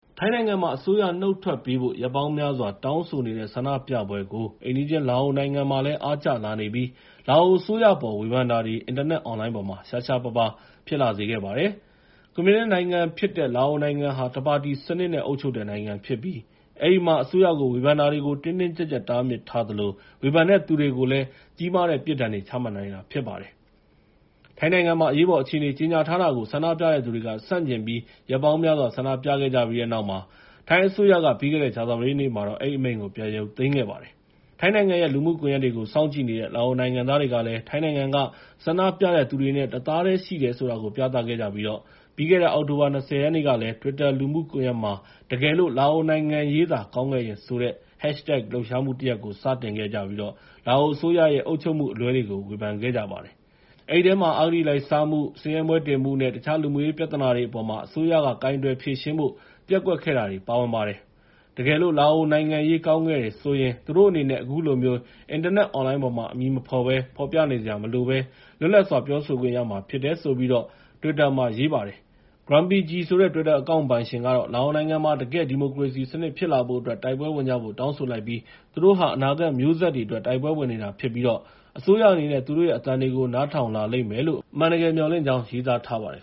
ထိုင်းနိုင်ငံမှာ အစိုးရနုတ်ထွက်ပေးဖို့ ရက်ပေါင်းများစွာ တောင်းဆိုနေတဲ့ ဆန္ဒပြပွဲတွေကို အိမ်နီးချင်း လာအိုနိုင်ငံမှာ အားကျလာနေကြပြီး လာအိုအစိုးရအပေါ် ဝေဖန်တာတွေ အင်တာနက်အွန်လိုင်းပေါ်မှာ ရှားရှားပါးပါး ဖြစ်ပေါ်လာစေခဲ့ပါတယ်။ ကွန်မြူနစ်နိုင်ငံဖြစ်တဲ့ လာအိုနိုင်ငံဟာ တပါတီစနစ်နဲ့ အုပ်ချုပ်တဲ့နိုင်ငံဖြစ်ပြီး အဲဒီမှာ အစိုးရကို ဝေဖန်တာတွေကို တင်းတင်းကျပ်ကျပ် တားမြစ်ထားပြီး ဝေဖန်တဲ့သူတွေကိုလည်း ကြီးမားတဲ့ပြစ်ဒဏ်တွေ ချမှတ်နိုင်တာဖြစ်ပါတယ်။ ထိုင်းနိုင်ငံမှာ အရေးပေါ်အခြေအနေ ကြေညာထားတာကို ဆန္ဒပြတဲ့သူတွေက ဆန့်ကျင်ပြီး ရက်ပေါင်းများစွာ ဆန္ဒပြခဲ့ကြပြီးတဲ့နောက် ထိုင်းအစိုးရက ပြီးခဲ့တဲ့ ကြာသပတေးနေ့မှာ အဲဒီအမိန့်ကို ပြန်ရုပ်သိမ်းခဲ့ပါတယ်။ ထိုင်းနိုင်ငံရဲ့ လူမှုကွန်ရက်တွေကို စောင့်ကြည့်နေတဲ့ လာအိုနိုင်ငံသားတွေကလည်း ထိုင်းနိုင်ငံက ဆန္ဒပြနေတဲ့သူတွေနဲ့အတူ တသားတည်းရှိနေတယ် ဆိုတာကို ပြသခဲ့ကြပြီး ပြီးခဲ့တဲ့ အောက်တိုဘာ ၂၀ ရက်နေ့ကလည်း တွစ်တာ လူမှုကွန်ရက်မှာ “တကယ်လို့ လာအိုနိုင်ငံရေးသာ ကောင်းခဲ့လျှင်” ဆိုတဲ့ #hashtag လှုပ်ရှားမှုတရပ်ကို စတင်ခဲ့ကြပြီး လာအိုအစိုးရရဲ့ အုပ်ချုပ်မှုအလွဲတွေကို ဝေဖန်ခဲ့ကြပါတယ်။ အဲဒီထဲမှာ အစိုးရက အဂတိလိုက်စားမှု၊ ဆင်းရဲမွဲတေမှုနဲ့ တခြား လူမှုရေးပြဿနာတွေအပေါ် ကိုင်တွယ်ဖြေရှင်းဖို့ ပျက်ကွက်ခဲ့တာတွေ ပါဝင်ခဲ့ပါတယ်။ တကယ်လို့ လာအိုနိုင်ငံရေးက ကောင်းတယ်ဆိုလျှင် သူတို့အနေနဲ့ အခုလိုမျိုး အင်တာနက်အွန်လိုင်းမှာ အမည်မဖော်ဘဲ ပြောနေစရာမလိုဘဲ လွတ်လပ်စွာ ပြောဆိုခွင့်ရမှာ ဖြစ်တယ်လို့ တွစ်တာမှာ ရေးပါတယ်။ GrumpyG ဆိုတဲ့ တွစ်တာအကောင့်ပိုင်ရှင်ကတော့ လာအိုနိုင်ငံမှာ တကယ့်ဒီမိုကရေစီစနစ် ဖြစ်လာဖို့အတွက် တိုက်ပွဲဝင်ကြဖို့ တောင်းဆိုလိုက်ပြီး သူတို့ဟာ အနာဂတ်မျိုးဆက်တွေအတွက် တိုက်ပွဲဝင်နေတာဖြစ်ပြီး အစိုးရအနေနဲ့ သူတို့ရဲ့အသံတွေကို နားထောင်လာလိမ့်မယ်လို့ အမှန်တကယ် မျှော်လင့်ကြောင်း ရေးသားထားပါတယ်